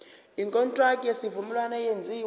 ikontraki yesivumelwano eyenziwe